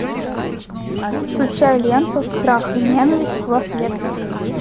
включай ленту страх и ненависть в лас вегасе